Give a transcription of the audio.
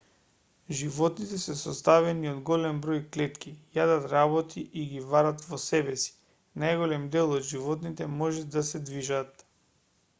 животните се составени од голем број клетки јадат работи и ги варат во себеси најголемиот дел од животните може да се движат